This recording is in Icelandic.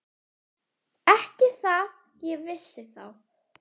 Ekki það ég vissi þá.